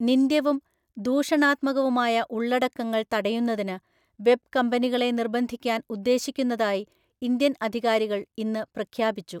നിന്ദ്യവും ദൂഷണാത്മകവുമായ ഉള്ളടക്കങ്ങൾ തടയുന്നതിന് വെബ് കമ്പനികളെ നിർബന്ധിക്കാന്‍ ഉദ്ദേശിക്കുന്നതായി ഇന്ത്യൻ അധികാരികൾ ഇന്ന് പ്രഖ്യാപിച്ചു.